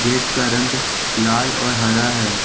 Gate का रंग लाल और हरा है ।